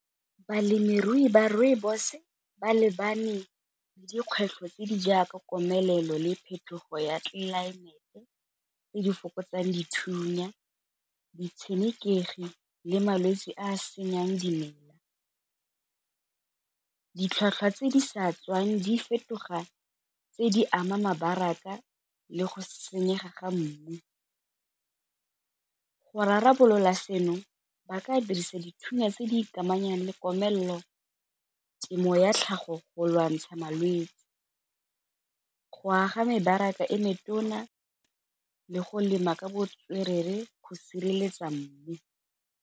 Balemirui ba rooibos ba lebane le dikgwetlho tse di jaaka komelelo le phetogo ya tlelaemete tse di fokotsang dithunya, ditshenekegi le malwetse a senyang dimela. Ditlhwatlhwa tse di sa tswang di fetoga tse di ama le go senyega ga mmu, go rarabolola seno ba ka dirisa dithunya tse di ikamanya le komelelo, temo ya tlhago go lwantsha malwetse, go aga mebaraka e metona le go lema ka botswerere go sireletsa mmu.